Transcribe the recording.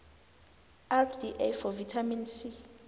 rda for vitamin c